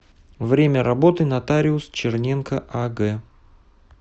время работы нотариус черненко аг